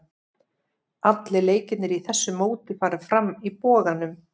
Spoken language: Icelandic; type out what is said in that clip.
Allir leikirnir í þessu móti fara fram í Boganum.